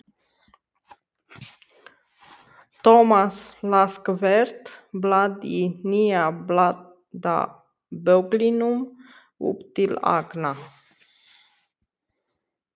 Thomas las hvert blað í nýja blaðabögglinum upp til agna.